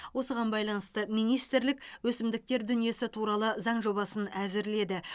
осыған байланысты министрлік өсімдіктер дүниесі туралы заң жобасын әзірледі